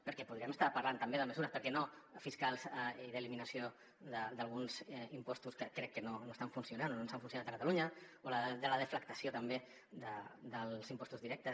perquè podríem estar parlant també de mesures per què no fiscals i d’eliminació d’alguns impostos que crec que no estan funcionant o no ens han funcionat a catalunya o de la deflactació també dels impostos directes